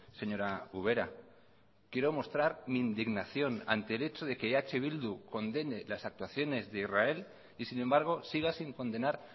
señora ubera quiero mostrar mi indignación ante el hecho de que eh bildu condene las actuaciones de israel y sin embargo siga sin condenar